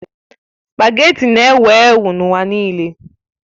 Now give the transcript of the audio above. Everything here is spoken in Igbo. Spagéti na-ewu ewu n'ụwa nile